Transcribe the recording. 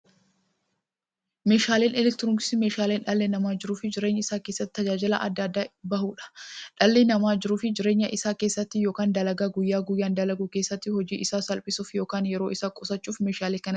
Meeshaaleen elektirooniksii meeshaalee dhalli namaa jiruuf jireenya isaa keessatti, tajaajila adda addaa itti bahuudha. Dhalli namaa jiruuf jireenya isaa keessatti yookiin dalagaa guyyaa guyyaan dalagu keessatti, hojii isaa salphissuuf yookiin yeroo isaa qusachuuf meeshaalee kanatti gargaarama.